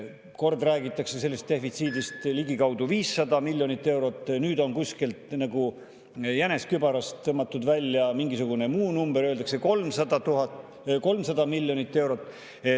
Kord räägitakse, et see defitsiit on ligikaudu 500 miljonit eurot, nüüd on kuskilt nagu jänes kübarast tõmmatud välja mingisugune muu number: öeldakse, et see on 300 miljonit eurot.